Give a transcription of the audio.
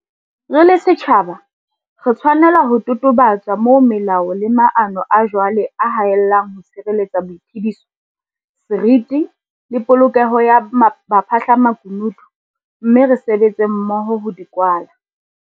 Re le setjhaba, re tshwanela ho totobatsa moo melao le maano a jwale a haellang ho tshireletsa boiphediso, seriti le polokeho ya baphahlamaku nutu - mme re sebetse mmoho ho di kwala.